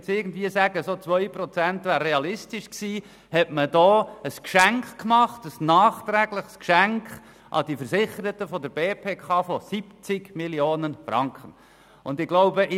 Wenn wir davon ausgehen, dass 2 Prozent realistisch gewesen wären, hat man hier ein nachträgliches Geschenk an die Versicherten der BPK im Wert von 70 Mio. Franken ausgerichtet.